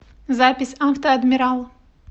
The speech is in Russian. запись авто адмирал